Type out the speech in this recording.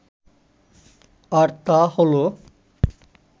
আর তা হলো